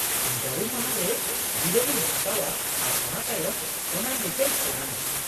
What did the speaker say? - ᱤᱧ ᱡᱟᱹᱨᱩᱢ ᱢᱟᱦᱟ ᱨᱮ ᱡᱤᱨᱟᱹᱣᱤᱧ ᱦᱟᱛᱟᱣ ᱟ ᱟᱨ ᱚᱱᱟ ᱛᱟᱭᱚᱢ ᱚᱱᱟ ᱞᱮᱠᱟᱧ ᱯᱞᱟᱱ ᱟ ᱾